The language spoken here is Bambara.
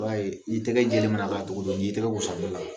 I b'a ye i tɛgɛ jelen mana k'a cogo n'i y'i tɛgɛ ko safinɛ la